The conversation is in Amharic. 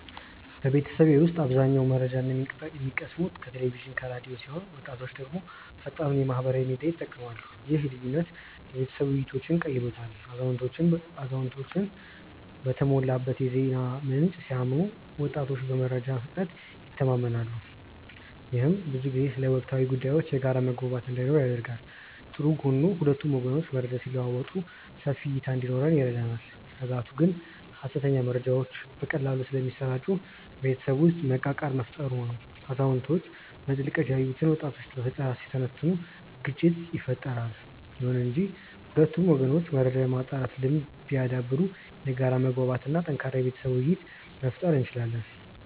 በቤተሰቤ ውስጥ አዛውንቶች መረጃን የሚቀስሙት ከቴሌቪዥንና ከራዲዮ ሲሆን ወጣቶች ደግሞ ፈጣኑን የማህበራዊ ሚዲያ ይጠቀማሉ። ይህ ልዩነት የቤተሰብ ውይይቶችን ቀይሮታል አዛውንቶች በተሞላበት የዜና ምንጭ ሲያምኑ ወጣቶች በመረጃ ፍጥነት ይተማመናሉ። ይህም ብዙ ጊዜ ስለ ወቅታዊ ጉዳዮች የጋራ መግባባት እንዳይኖር ያደርጋል። ጥሩ ጎኑ ሁለቱም ወገኖች መረጃ ሲለዋወጡ ሰፊ እይታ እንዲኖረን ይረዳናል። ስጋቱ ግን ሐሰተኛ መረጃዎች በቀላሉ ስለሚሰራጩ ቤተሰብ ውስጥ መቃቃር መፈጠሩ ነው። አዛውንቶች በጥልቀት ያዩትን ወጣቶች በፈጠራ ሲተነትኑት ግጭት ይፈጠራል። ይሁን እንጂ ሁለቱም ወገኖች መረጃን የማጣራት ልምድ ቢያዳብሩ የጋራ መግባባት እና ጠንካራ የቤተሰብ ውይይት መፍጠር እንችላለን።